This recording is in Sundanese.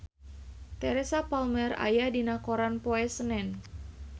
Teresa Palmer aya dina koran poe Senen